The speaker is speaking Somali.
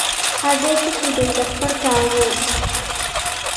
Xagee ku sudhay dharkaagii?